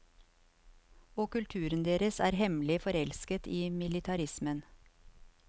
Og kulturen deres er hemmelig forelsket i militarismen.